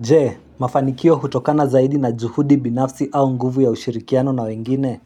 Je, mafanikio hutokana zaidi na juhudi binafsi au nguvu ya ushirikiano na wengine